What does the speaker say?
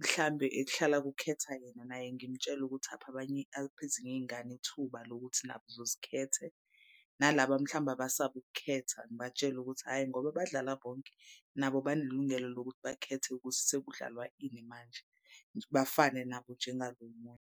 mhlambe ekuhlala kukhetha yena naye ngimtshele ukuthi aphe abanye aphe ezinye iy'ngane ithuba lokuthi nazo zikhetha. Nalaba mhlawumbe abasaba ukukhetha ngibatshele ukuthi hhayi ngoba badlala bonke nabo banelungelo lokuthi bakhethe ukuthi sekudlalwa ini manje. Bafane nabo njengalo omunye.